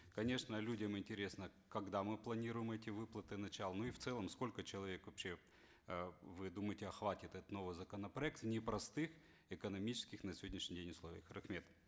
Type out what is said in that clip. конечно людям интересно когда мы планируем эти выплаты начало ну и в целом сколько человек вообще э вы думаете охватит этот новый законопроект в непростых экономических на сегодняшний день условиях рахмет